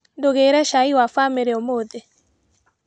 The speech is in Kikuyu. Ndugire cai wa bamĩrĩ ũmũthĩ.